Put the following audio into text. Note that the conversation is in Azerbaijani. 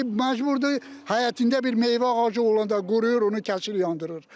Camaat indi məcburdur həyətində bir meyvə ağacı olanda qoruyur onu kəsir yandırır.